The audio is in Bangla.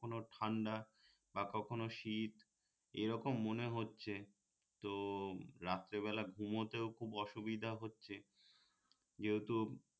কখনো ঠান্ডা বা কখনো শীত এরকম মনে হচ্ছে তো রাত্রে বেলা ঘুমোতেও খুব অসুবিধে হচ্ছে যেহেতু